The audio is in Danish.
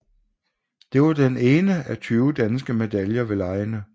Det var den ene af 20 danske medaljer ved legene